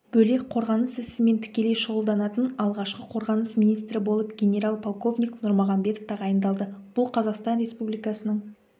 бөлек қорғаныс ісімен тікелей шұғылданатын алғашқы қорғаныс министрі болып генерал-полковник нұрмағанбетов тағайындалды бұл қазақстан республикасының